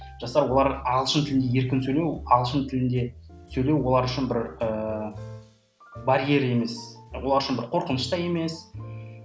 жастар олар ағылшын тілінде еркін сөйлеу ағылшын тілінде сөйлеу олар үшін бір ы барьер емес олар үшін бір қорқыныш та емес